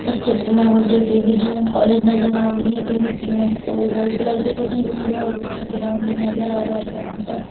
इस चित्र में मुझे पी_बी_जी_एम कॉलेज नज़र आ रही है पी_बी_जी_एम कॉलेज वाइट कलर से पुती हुई है और इसका ग्राउंड देखो नज़र आ रहा है ग्राउंड पर --